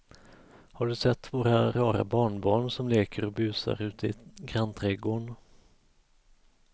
Har du sett våra rara barnbarn som leker och busar ute i grannträdgården!